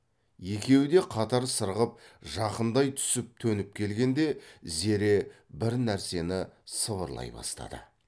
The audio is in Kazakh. екеуі де қатар сырғып жақындай түсіп төніп келгенде зере бір нәрсені сыбырлай бастады